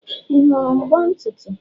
Ị hụrụ mbo ntutu?